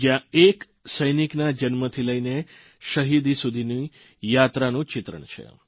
જયાં એક સૈનિકના જન્મથી લઇને શહિદી સુધીની યાત્રાનું ચિત્રણ છે